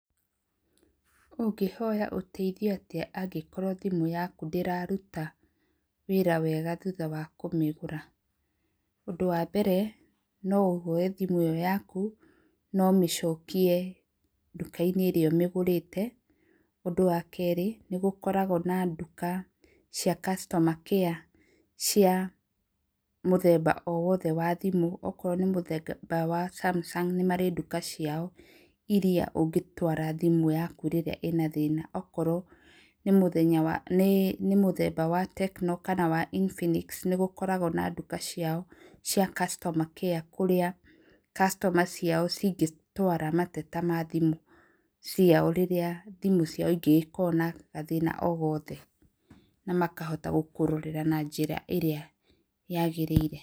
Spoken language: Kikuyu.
Ũngĩhoya ũteithio atĩa angĩkorwo thimũ yaku ndĩraruta wĩra wega thutha wa kũmĩgũra? Ũndũ wa mbere no ũhoe thimũ ĩyo yaku na ũmĩcokie nduka-inĩ ĩrĩa ũmĩgũrĩte. Ũndũ wa keerĩ nĩ gũkarogwo na nduka cia customer care cia mũthemba o wothe wa thimũ, okorwo nĩ mũthemba wa Samsung nĩmarĩ nduka ciao iria ũngĩtwara thimũ yaku rĩrĩa ĩna thĩna. Okorwo ni mũthemba wa Tecno kana wa Infinix nĩ gũkarogwo na nduka ciao cia customer care kũrĩa customer ciao cingĩtwara mateta ma thimũ ciao rĩrĩa thimũ ciao ingĩgĩkorwo na gathĩna o gothe na makahota gũkũrorera na njĩra ĩrĩa yagĩrĩire.